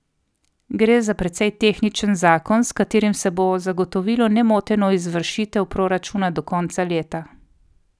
Gre za precej tehničen zakon, s katerim se bo zagotovilo nemoteno izvršitev proračuna do konca leta.